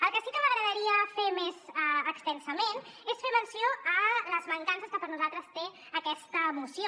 el que sí que m’agradaria fer més extensament és fer menció a les mancances que per nosaltres té aquesta moció